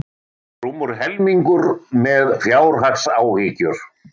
Rúmur helmingur með fjárhagsáhyggjur